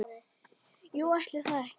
Jú, ætli það ekki!